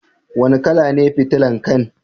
Wani kala ne fitilan kai'n?